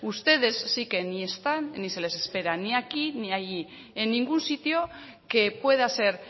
ustedes sí que ni están ni se les espera ni aquí ni allí en ningún sitio que pueda ser